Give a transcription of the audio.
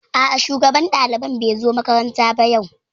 A'a shugaban ɗaliban bai zo makaranta ba yau